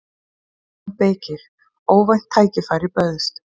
JÓN BEYKIR: Óvænt tækifæri bauðst.